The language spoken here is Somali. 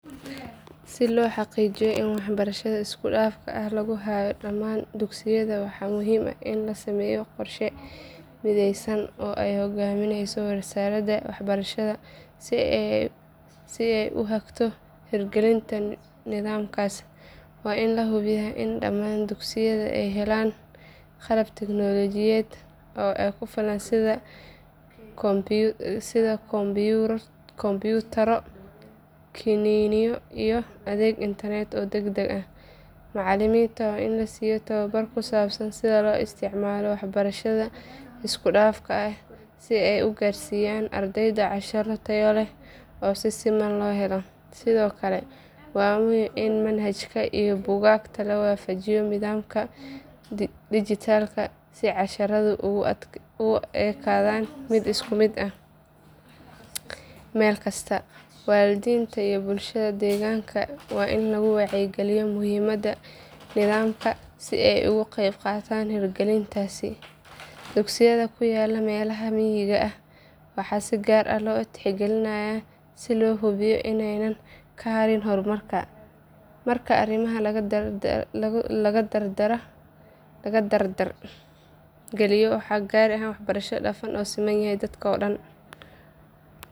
Si loo xaqiijiyo in waxbarashada isku dhafka ah lagu hayo dhammaan dugsiyada waxaa muhiim ah in la sameeyo qorshe mideysan oo ay hoggaaminayso wasaaradda waxbarashada si ay u hagto hirgelinta nidaamkaas. Waa in la hubiyaa in dhammaan dugsiyada ay helaan qalab tignoolajiyeed oo ku filan sida kombiyuutarro, kiniinyo iyo adeeg internet oo degdeg ah. Macalimiinta waa in la siiyo tababar ku saabsan sida loo isticmaalo waxbarashada isku dhafka ah si ay u gaarsiiyaan ardayda casharro tayo leh oo si siman loo helo. Sidoo kale waa muhiim in manhajka iyo buugaagta la waafajiyo nidaamka dijitaalka si casharradu ugu ekaadaan mid isku mid ah meel kasta. Waalidiinta iyo bulshada deegaanka waa in lagu wacyigeliyaa muhiimadda nidaamkan si ay uga qayb qaataan hirgelintiisa. Dugsiyada ku yaalla meelaha miyiga ah waxaa si gaar ah loo tixgelinayaa si loo hubiyo in aanay ka harin horumarka. Marka arrimahan la dardar geliyo waxaa la gaari karaa waxbarasho isku dhafan oo loo siman yahay dalka oo dhan.